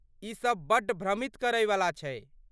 ई सब बड्ड भ्रमित करैवला छै।